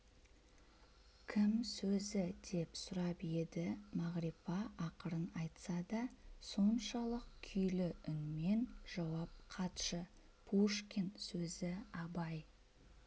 кім сөзі деп сұрап еді мағрипа ақырын айтса да соншалық күйлі үнмен жауап қатшы пушкин сөзі абай